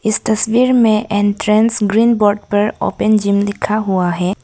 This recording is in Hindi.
इस तस्वीर में एंट्रेंस ग्रीन बोर्ड पर ओपेन जिम लिखा हुआ है।